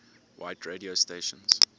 white radio stations